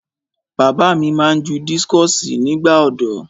Bàbá mi máa ń ju dískọ̀sì nígbà ọ̀dọ́.